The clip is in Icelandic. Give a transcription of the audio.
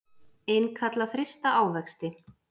Innkalla frysta ávexti